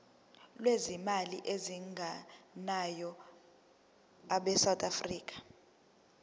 lwezimali ezingenayo abesouth